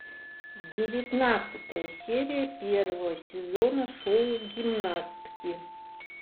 девятнадцатая серия первого сезона шоу гимнастки